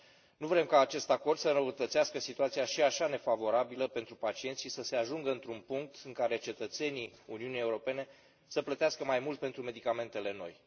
Nu vrem ca acest acord să înrăutățească situația și așa nefavorabilă pentru pacienți și să se ajungă într un punct în care cetățenii Uniunii Europene să plătească mai mult pentru medicamentele noi.